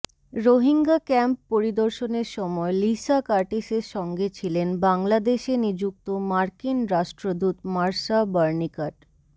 Rohingya camp পরিদর্শনের সময় Lisa কার্টিসের সঙ্গে ছিলেন বাংলাদেশে নিযুক্ত মার্কিন রাষ্ট্রদূত মার্শা বার্নিকাট